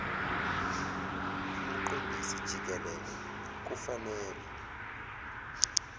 umqondisi jikelele kufanele